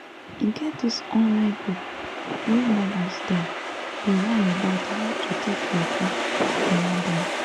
e get this online group wey mothers dem dey yarn about how to take ready if you wan born